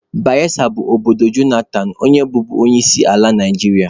Bayesa bụ obodo Jonathan onye bụbu onyeisiala Naijiria.